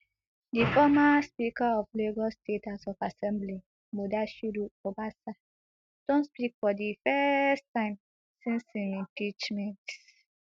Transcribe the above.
di former speaker of lagos state house of assembly mudashiru obasa don speak for di first time since im impeachment